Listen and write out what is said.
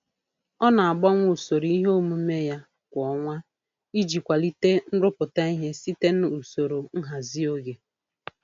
Ọ na-agbanwe usoro ihe omume ya kwa ọnwa iji kwalite nrụpụta ihe site n'usoro nhazi oge.